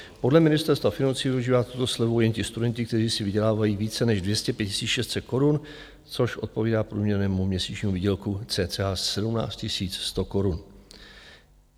Podle Ministerstva financí využívají tuto slevu jen ti studenti, kteří si vydělávají více než 205 600 korun, což odpovídá průměrnému měsíčnímu výdělku cca 17 100 korun.